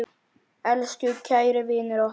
Elsku kæri vinur okkar.